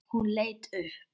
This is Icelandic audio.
Hún leit upp.